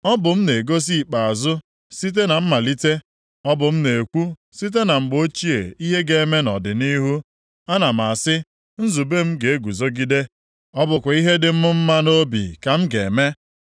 Ọ bụ m na-egosi ikpeazụ site na mmalite, ọ bụ m na-ekwu site na mgbe ochie ihe ga-eme nʼọdịnihu. Ana m asị, ‘nzube m ga-eguzogide. Ọ bụkwa ihe dị m mma nʼobi ka m ga-eme.’